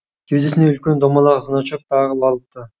кеудесіне үлкен домалақ значок тағып алыпты